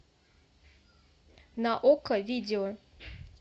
на окко видео